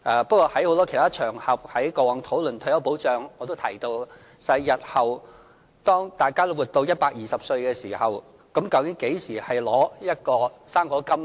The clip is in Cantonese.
不過，在很多其他討論退休保障的場合上，我也提到日後當大家都活到120歲的時候，究竟應何時領取"生果金"呢？